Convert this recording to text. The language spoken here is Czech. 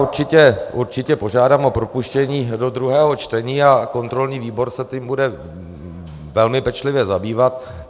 Určitě požádám o propuštění do druhého čtení a kontrolní výbor se tím bude velmi pečlivě zabývat.